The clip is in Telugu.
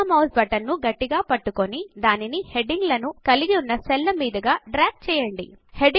ఎడమ మౌస్ బటన్ ను గట్టిగా పట్టుకుని దానిని హెడింగ్ లను కలిగి ఉన్న సెల్ ల మీదుగా డ్రాగ్ చేయండి